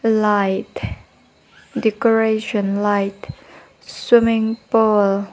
light decoration light swimming pool .